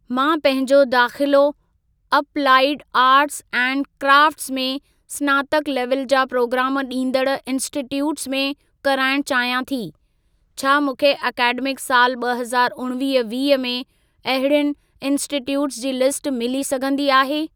मां पंहिंजो दाख़िलो अपलाइड आर्ट्स एंड क्राफ़्टस में स्नातक लेवल जा प्रोग्राम ॾींदड़ इन्स्टिटयूट में कराइण चाहियां थी। छा मूंखे अकेडमिक साल ॿ हज़ारु उणिवीह वीह में, अहिड़ियुनि इन्स्टिटयूट जी लिस्ट मिली सघंदी आहे?